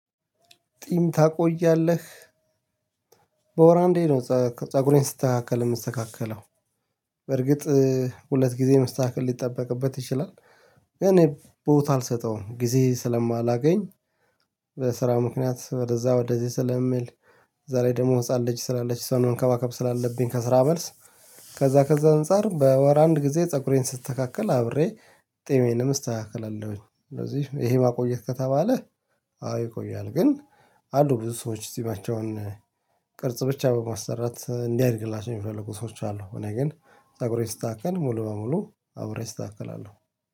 ጢም ታቆያለህ። በወር አንዴ ነው ፀጉሬን ስስተካከል የምስተካከለው በርግጥ ሁለት ጊዜ መስተካከል ሊጠበቅበት ይችላል። እኔ ቦታ አልሰጠውም ጊዜ ስለማላገኝ። በስራ ምክንያት ወደዛ ወደዚህ ስለምል በዛ ላይ ደግሞ ህፃን ልጅ ስላለች እስዋን መንከባከብ ስላለብኝ ከስራ መልስ ከዛ ከዛ አንፃር በወር አንድ ጊዜ ፀጉሬን ስስተካከል አብሬ ጤሜንም እስተካከላለሁኝ። ስለዚህ ይሄ ማቆየት ከተባለ አዎ ይቆያል። ግን አሉ ብዙ ሰዎች ጺማቸውን ቅርጽ ብቻ በማሰራት እንዲያድግላቸው የሚፈልጉ ሰዎች አሉ። እኔ ግን አብሬ ስስታክል ሙሉ በሙሉ አብሬ እስተካከላለሁ